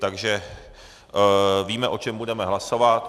Takže víme, o čem budeme hlasovat.